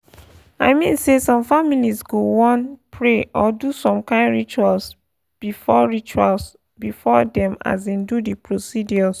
i mean say some families go wan pause pray or do some kain rituals before rituals before dem um do the procedures.